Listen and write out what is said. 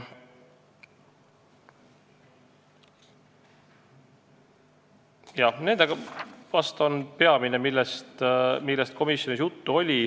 Jah, need olid peamised teemad, millest komisjonis juttu oli.